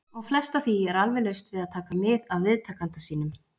. og flest af því er alveg laust við að taka mið af viðtakanda sínum.